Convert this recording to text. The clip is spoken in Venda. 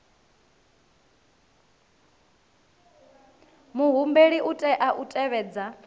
muhumbeli u tea u tevhedza